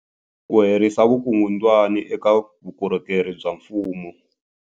Ku herisa vukungundwani eka vukorhokeri bya mfumo.